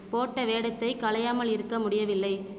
போட்ட வேடத்தைக் களையாமல் இருக்க முடியவில்லை